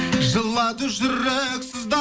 жылады жүрек